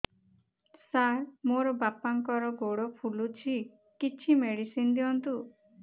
ସାର ମୋର ବାପାଙ୍କର ଗୋଡ ଫୁଲୁଛି କିଛି ମେଡିସିନ ଦିଅନ୍ତୁ